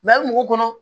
ali mɔgɔ kɔnɔ